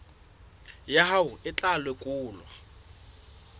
ya hao e tla lekolwa